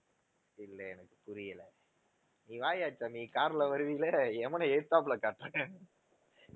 இல்ல எனக்கு புரியல நீ வாயாடிட்டு வா நீ car ல வருவீல்ல எமனை எதிர்த்தாப்புல காட்டுறேன்.